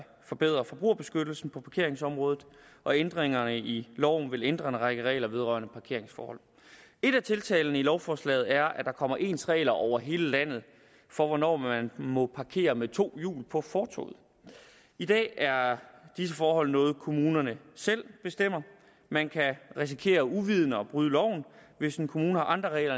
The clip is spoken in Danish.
forbedre forbrugerbeskyttelsen på parkeringsområdet og ændringerne i loven vil ændre en række regler vedrørende parkeringsforhold et af tiltagene i lovforslaget er at der kommer ens regler over hele landet for hvornår man må parkere med to hjul på fortovet i dag er disse forhold noget kommunerne selv bestemmer man kan risikere uvidende at bryde loven hvis en kommune har andre regler